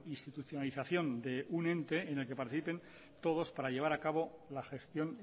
institucionalización de un ente en el que participen todos para llevar a cabo la gestión